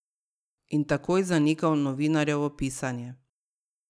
In takoj zanikal novinarjevo pisanje.